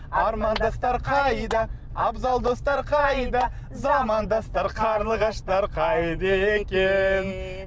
армандастар қайда абзалдастар қайда замандастар қарлығаштар қайда екен